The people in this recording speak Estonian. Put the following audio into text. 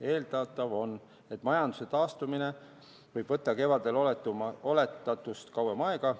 Eeldatav on, et majanduse taastumine võib võtta kevadel oletatust kauem aega.